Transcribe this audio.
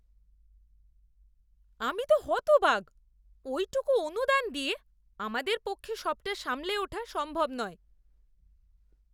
আমি তো হতবাক! ওইটুকু অনুদান দিয়ে আমাদের পক্ষে সবটা সামলে ওঠা সম্ভব নয়।